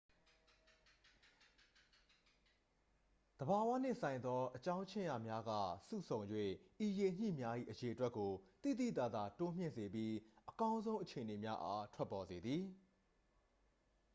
သဘာဝနှင့်ဆိုင်သော အကြောင်းခြင်းရာများက စုဆုံ၍ ဤရေညှိများ၏ အရေအတွက်ကို သိသိသာသာ တိုးမြင့်စေပြီး အကောင်းဆုံးအခြေအနေများအား ထွက်ပေါ်စေသည်